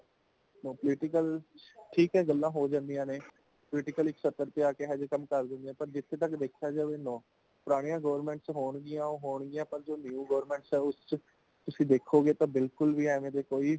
no political ,ਠੀਕ ਹੈ ਗੱਲਾਂ ਹੋ ਜਾਂਦੀਆਂ ਨੇ ,political ਇਕ ਸੱਤਰ ਤੇ ਆਕੇ ਇਹੋ ਜੇ ਕੰਮ ਕਰ ਦੇਂਦੀਆਂ ਨੇ ਪਰ ਜਿਥੋਂ ਤੱਕ ਦੇਖਿਆਂ ਜਾਏ no , ਪੁਰਾਣੀਆਂ government ਵਿਚ ਹੋਣਗੀਆਂ ਉਹ ਹੋਣਗੀਆਂ ਪਾਰ new government ਵਿਚ ਇਹੋ ਜੇ ਕੋਈ